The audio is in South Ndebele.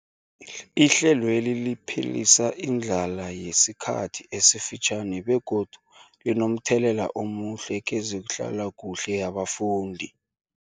Ihlelweli liphelisa indlala yesikhathi esifitjhani begodu linomthelela omuhle kezehlalakuhle yabafundi.